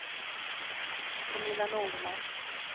Pernilla Norman